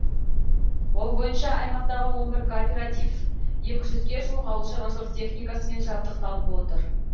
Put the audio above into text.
ол бойынша аймақтағы он бір кооператив екі жүзге жуық ауылшаруашылық техникасымен жабдықталып отыр